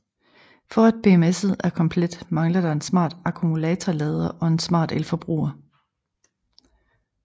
For at BMSet er komplet mangler der en smart akkumulatorlader og en smart elforbruger